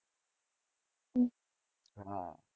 હા.